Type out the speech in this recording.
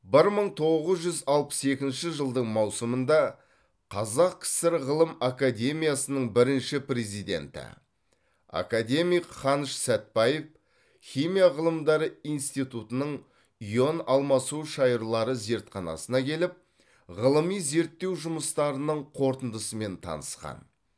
бір мың тоғыз жүз алпыс екінші жылдың маусымында қазақ кср ғылым академиясының бірінші президенті академик қаныш сәтбаев химия ғылымдары институтының ион алмасу шайырлары зертханасына келіп ғылыми зерттеу жұмыстарының қорытындысымен танысқан